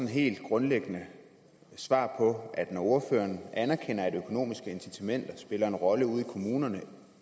helt grundlæggende svar på når ordføreren anerkender at økonomiske incitamenter spiller en rolle ude i kommunerne